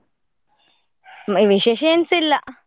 non human vocal ವಿಶೇಷ ಎಂತ ಇಲ್ಲ.